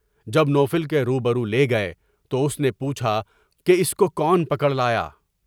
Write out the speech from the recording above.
جب نو فل کے روبرو لے گئے تو اس نے یہ پوچھا کے اس کو کون پکڑ لایا؟